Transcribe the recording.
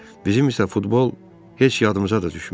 Bizim isə futbol heç yadımıza da düşmür.